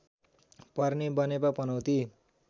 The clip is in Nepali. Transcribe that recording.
पर्ने बनेपा पनौती